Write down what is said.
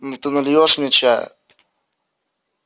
ну ты нальёшь мне чая